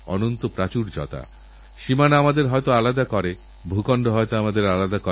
দেশে এরকম কাজ যাঁরা করছেন তাঁদেরধন্যবাদ বিশেষ করে ধন্যবাদ আমার আলিগড়ের সাথীদের